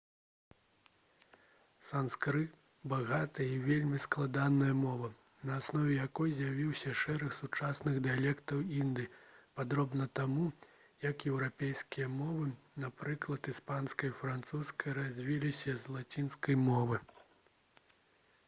санскрыт багатая і вельмі складаная мова на аснове якой з'явіўся шэраг сучасных дыялектаў індыі падобна таму як еўрапейскія мовы напрыклад іспанская і французская развіліся з лацінскай мовы